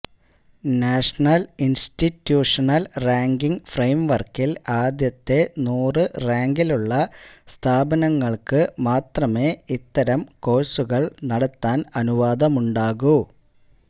national institutional ranking ഫ്രയിംവർക്കിൽ ആദ്യത്തെ നൂറ് റാങ്കിലുള്ള സ്ഥാപനങ്ങൾക്ക് മാത്രമേ ഇത്തരം കോഴ്സുകൾ നടത്താൻ അനുവാദമുണ്ടാകൂ